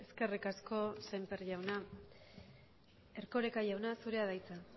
eskerrik asko sémper jauna erkoreka jauna zurea da hitza